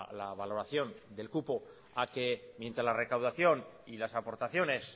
la valoración del cupo a que mientras la recaudación y las aportaciones